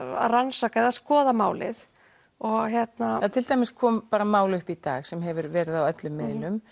að rannsaka eða skoða málið en til dæmis kom mál upp í dag sem hefur verið á öllum miðlum